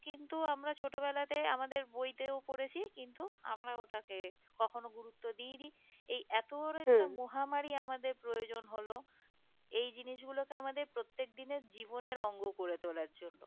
কিন্তু আমরা ছোট বেলাতে আমাদের বইতেও পড়েছি কিন্তু এখন আর ওটাকে কখনো গুরুত্ব দিইনি এই এতো বড়ো একটা মহা মারি আমাদের প্রয়োজন হলো এই জিনিস গুলোকে আমাদের প্রত্যেক দিনের জীবনের অঙ্গ করে তোলার জন্য